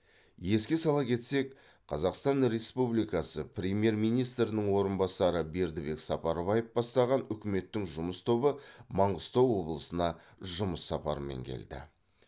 еске сала кетсек қазақстан республикасы премьер министрінің орынбасары бердібек сапарбаев бастаған үкіметтің жұмыс тобы маңғыстау облысына жұмыс сапармен келді